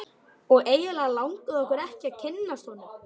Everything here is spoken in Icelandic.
Og eiginlega langaði okkur ekki að kynnast honum.